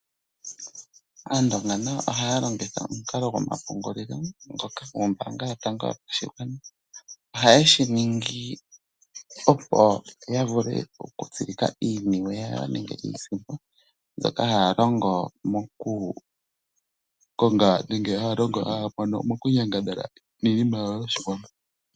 Aandonga nayo ohaya longitha omukalo gomapungulilo ngoka nombaanga yotango yopashigwana. Ohaye shiningi opo ya vule okutsilika iiniwe yawo nenge iisimpo mbyoka haya longo moku Konga nenge haya longo mokunyangadhala miinima yawo yoshiwambo.